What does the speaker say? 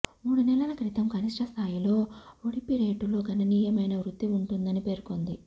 మూడు నెలల క్రితం కనిష్ఠ సాయిలో జిడిపి రేటులో గణనీయమైన వృద్ధి ఉంటుందని పేర్కొంది